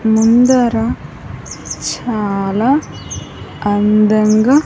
ముందర చాలా అందంగా.